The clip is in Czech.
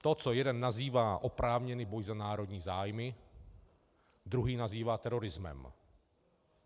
To, co jeden nazývá oprávněný boj za národní zájmy, druhý nazývá terorismem.